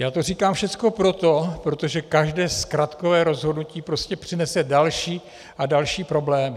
Já to říkám všecko proto, protože každé zkratkové rozhodnutí prostě přinese další a další problémy.